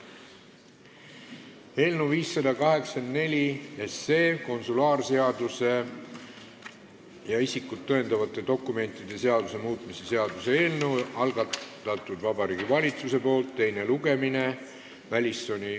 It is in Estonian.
Eelnõu 584, konsulaarseaduse ja isikut tõendavate dokumentide seaduse muutmise seaduse eelnõu, algatanud Vabariigi Valitsus, teine lugemine.